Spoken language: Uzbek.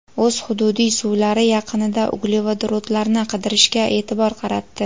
o‘z hududiy suvlari yaqinida uglevodorodlarni qidirishga e’tibor qaratdi.